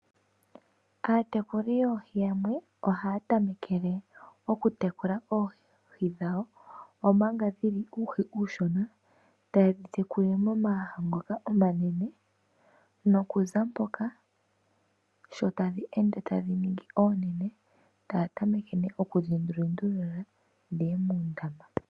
Aatekuli yoohi yamwe ohaya tamekele okutekula oohi dhawo omanga dhili uuhi uushona tayedhi tekulile momaaha ngoka omanene. Sho tadhi ende tadhi ningi oonene tayedhi lundululile muundama.